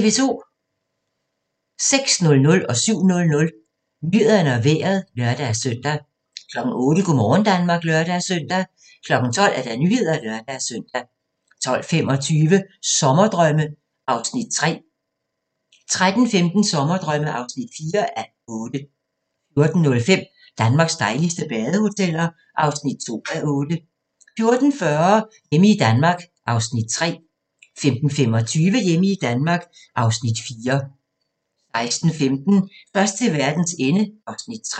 06:00: Nyhederne og Vejret (lør-søn) 07:00: Nyhederne og Vejret (lør-søn) 08:00: Go' morgen Danmark (lør-søn) 12:00: Nyhederne (lør-søn) 12:25: Sommerdrømme (3:8) 13:15: Sommerdrømme (4:8) 14:05: Danmarks dejligste badehoteller (2:8) 14:40: Hjemme i Danmark (Afs. 3) 15:25: Hjemme i Danmark (Afs. 4) 16:15: Først til verdens ende (Afs. 3)